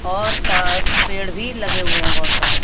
और सा पेड़ भी लगे हुए हैं बहुत सारे।